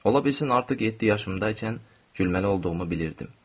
Ola bilsin artıq yeddi yaşımdaykən gülməli olduğumu bilirdim.